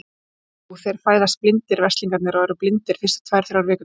Já, þeir fæðast blindir, veslingarnir, og eru blindir fyrstu tvær, þrjár vikurnar.